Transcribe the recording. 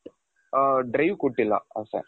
ಆ drive ಕೊಟ್ಟಿಲ್ಲ ಅಷ್ಟೆ.